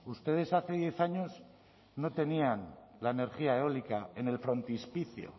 ustedes hace diez años no tenían la energía eólica en el frontispicio